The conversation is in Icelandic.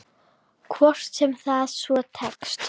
Hvort sem það svo tekst.